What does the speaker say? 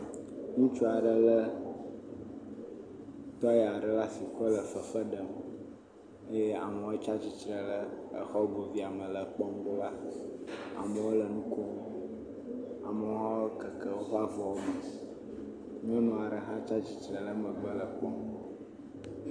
Ŋutsu aɖe lé tɔi vi aɖe le asi kɔ lɔ fefe ɖem eye amewo tsatsitre ɖe exɔ goboe me le ekpɔm ɖo ɖa. Amewo le nu kom, amewo hã wokeke woƒe avɔwo me. Nyɔnu aɖe hã tsatsitre le megbe le ekpɔm.